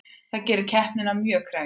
Það gerir keppnina mjög krefjandi